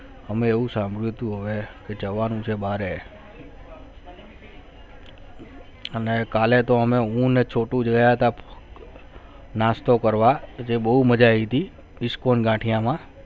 હમે હું સાંભળવું તો હોય છે કે જમવાનું છે બહારે હમે કાલે તો હું ને છોટુ ગયા થા નાસ્તો કરવા એને બહુ મજા આવી થી ISCON ગાઠીયા માં